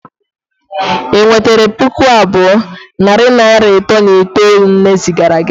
ị nwetere pụkụ abụọ na naira nne zigara gị